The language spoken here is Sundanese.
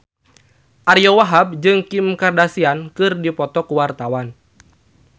Ariyo Wahab jeung Kim Kardashian keur dipoto ku wartawan